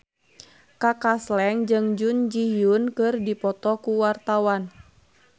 Kaka Slank jeung Jun Ji Hyun keur dipoto ku wartawan